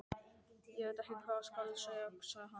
Ég veit ekki hvað skal segja sagði hann.